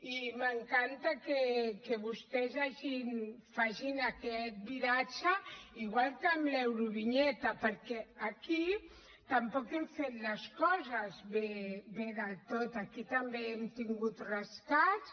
i m’encanta que vostès facin aquest viratge igual que amb l’eurovinyeta perquè aquí tampoc hem fet les coses bé del tot aquí també hem tingut rescats